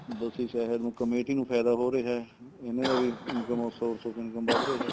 ਬਸੀ ਸ਼ਹਿਰ ਨੂੰ ਕਮੇਟੀ ਨੂੰ ਫਾਇਦਾ ਹੋ ਰਿਹਾ ਇਹਨਾ ਦਾ ਵੀ income of source income ਵੱਧ ਰਿਹਾ